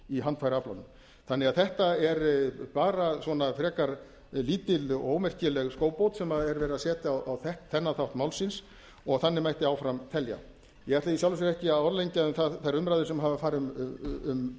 ufsinn er sterkastur í handfæraaflanum þetta er því bara svona frekar lítil og ómerkileg skóbót sem er verið að setja á þennan þátt málsins og þannig mætti áfram telja ég ætla í sjálfu sér ekki að orðlengja um þær umræður sem hafa farið fram um